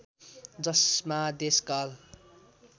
जसमा देश काल